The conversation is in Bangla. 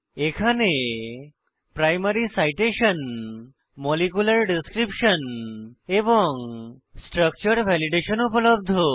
এখানে প্রাইমারি সাইটেশন মলিকিউলার ডেসক্রিপশন এবং স্ট্রাকচার ভ্যালিডেশন উপলব্ধ